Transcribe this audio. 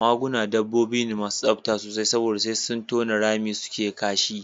Maguna dabbobi ne masu tsafta sosai saboda sai sun tona rami suke kashi